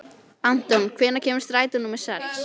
Anton, hvenær kemur strætó númer sex?